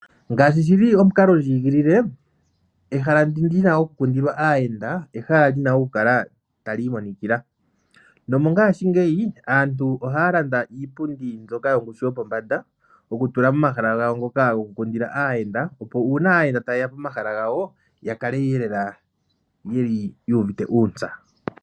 Ngaashi shili omukalondjigilile , ehala ndi lina okukundilwa aayenda olina okukala tali imonikila nomongaashingeyi aantu ohaa landa iipundi mbyoka yongushu yopombada, mbyoka tayi tulwa momahala ngoka goku kundila aayenda, opo uuna aayenda tayeya pomahala gawo yakale lela yeli yuuvite uuntsa.